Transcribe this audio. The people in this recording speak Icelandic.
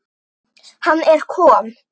Hann er kom